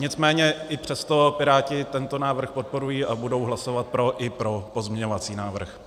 Nicméně i přesto Piráti tento návrh podporují a budou hlasovat pro, i pro pozměňovací návrh.